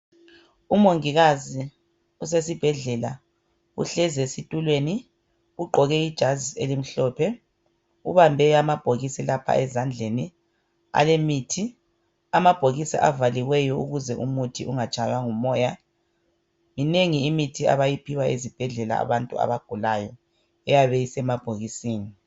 Umongikazi usesibhedlela uhlezi esitulweni. Ugqoke ijazi elimhlophe. Ubambe amabhokisi lapha ezandleni alemithi. Amabhokisi avaliweyo ukuze umuthi ungatshaywa ngumoya. Minengi imithi abayiphiwa ezibhedlela abantu abagulayo, eyabe isemabhokisini.